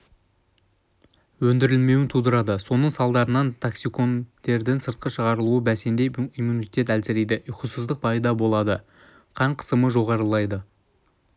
өндірілмеуін тудырады соның салдарынантоксиндердің сыртқа шығарылуы бәсеңдеп иммунитет әлсірейді ұйқысыздық пайда болады қан қысымы жоғарылайды